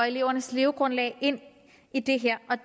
elevernes levegrundlag ind i det her